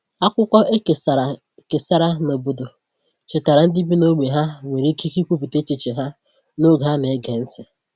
Akwụkwọ e kesàrà kesàrà n’obodo chetaara ndị bi n’ógbè ha nwere ikike ikwupụta echiche ha n’oge a na-ege ntị.